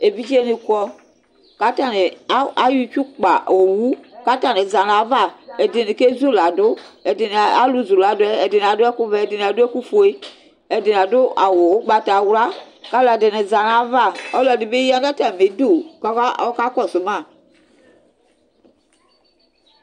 evidze ni kɔ k'atani ayɔ itsukpa owu k'atani za n'ava ɛdini kezulado ɛdini alo zuladoɛ ɛdini ado ɛku vɛ ɛdini ado ɛku fue ɛdini ado awu ugbatawla ko aloɛdini za n'ava ɔloɛdi bi ya n'atami du ko ɔka kɔsu ma